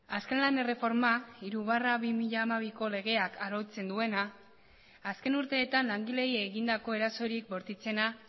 azken lan erreforma hiru barra bi mila hamabi legeak arautzen duena azken urteetan langileei egindako erasorik bortitzena